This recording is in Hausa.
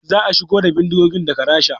Za a shigo da bindigogin daga Rasha